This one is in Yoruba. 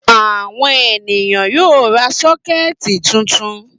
Àwọn ènìyàn yóò ra sọ́kẹ́tì tuntun.